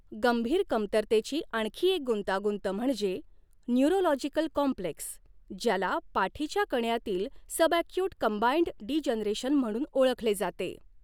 गंभीर कमतरतेची आणखी एक गुंतागुंत म्हणजे न्यूरोलॉजिकल कॉम्प्लेक्स ज्याला पाठीच्या कण्यातील सबॲक्यूट कंबाईंड डीजनरेशन म्हणून ओळखले जाते.